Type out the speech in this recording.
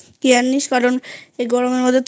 Careনিস এই গরমের মধ্যে তুই